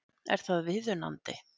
Er það viðunandi?